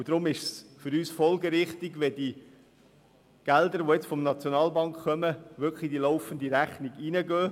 Deshalb ist es für uns folgerichtig, dass die Gelder, die jetzt von der SNB kommen, wirklich in die laufende Rechnung einfliessen.